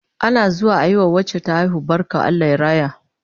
Ana zuwa ayi wa wacce ta haihu barka Allah ya raya